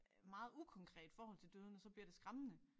Meget ukonkret forhold til døden og så bliver det skræmmende